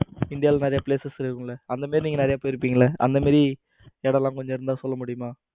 இந்தியாவில் நிறைய places இருக்கும்ல. அந்த மாதிரி நீங்க நிறைய போயிருப்பீங்கல. அந்த மாதிரி இடம் எல்லாம் இருந்தா கொஞ்சம் சொல்ல முடியுமா?